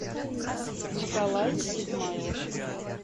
николай измайлов